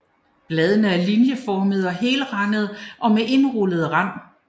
Bladene er linjeformede og helrandede med indrullet rand